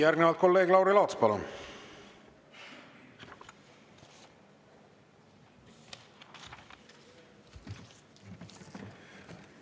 Järgnevalt kolleeg Lauri Laats, palun!